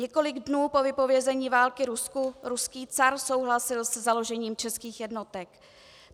Několik dnů po vypovězení války Rusku ruský car souhlasil se založením českých jednotek.